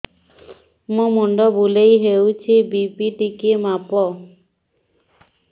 ମୋ ମୁଣ୍ଡ ବୁଲେଇ ହଉଚି ବି.ପି ଟିକେ ମାପ